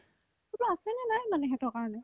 কিবা আছেনে নাই মানে সিহঁতৰ কাৰণে